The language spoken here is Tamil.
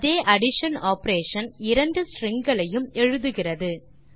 அதே அடிஷன் ஆப்பரேஷன் இரண்டு ஸ்ட்ரிங் களையும் எழுதுகிறது